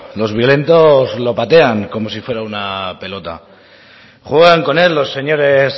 los violentos lo patean como si fuera una pelota juegan con él los señores